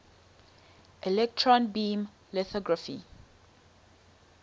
electron beam lithography